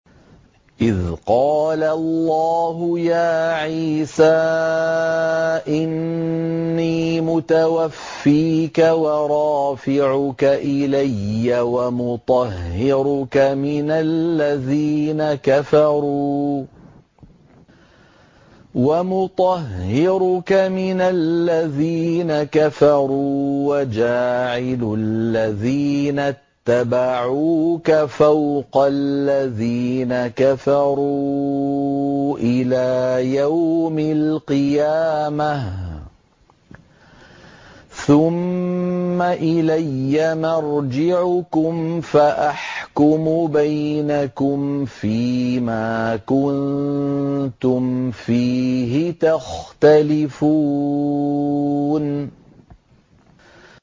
إِذْ قَالَ اللَّهُ يَا عِيسَىٰ إِنِّي مُتَوَفِّيكَ وَرَافِعُكَ إِلَيَّ وَمُطَهِّرُكَ مِنَ الَّذِينَ كَفَرُوا وَجَاعِلُ الَّذِينَ اتَّبَعُوكَ فَوْقَ الَّذِينَ كَفَرُوا إِلَىٰ يَوْمِ الْقِيَامَةِ ۖ ثُمَّ إِلَيَّ مَرْجِعُكُمْ فَأَحْكُمُ بَيْنَكُمْ فِيمَا كُنتُمْ فِيهِ تَخْتَلِفُونَ